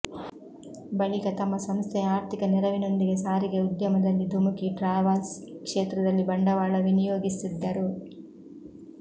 ಬಳಿಕ ತಮ್ಮ ಸಂಸ್ಥೆಯ ಆರ್ಥಿಕ ನೆರವಿನೊಂದಿಗೆ ಸಾರಿಗೆ ಉದ್ಯಮದಲ್ಲಿ ಧುಮುಕಿ ಟ್ರಾವಲ್ಸ್ ಕ್ಷೇತ್ರದಲ್ಲಿ ಬಂಡವಾಳ ವಿನಿಯೋಗಿಸಿದ್ದರು